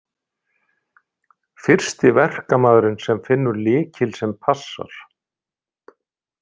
Fyrsti verkamaðurinn sem finnur lykil sem passar.